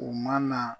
U ma na